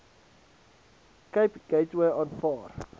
cape gateway aanvaar